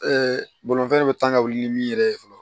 bolimafɛn de bɛ tan ka wuli ni min yɛrɛ ye fɔlɔ